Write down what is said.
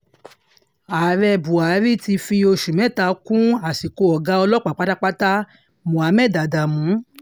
ààrẹ buhari ti fi oṣù mẹ́ta kún àsìkò ọ̀gá ọlọ́pàá pátápátá muhammed adamu